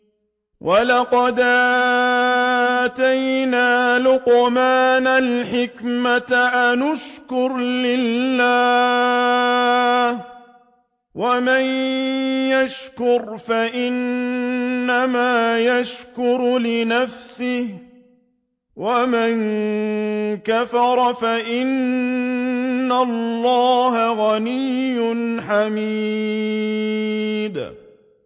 وَلَقَدْ آتَيْنَا لُقْمَانَ الْحِكْمَةَ أَنِ اشْكُرْ لِلَّهِ ۚ وَمَن يَشْكُرْ فَإِنَّمَا يَشْكُرُ لِنَفْسِهِ ۖ وَمَن كَفَرَ فَإِنَّ اللَّهَ غَنِيٌّ حَمِيدٌ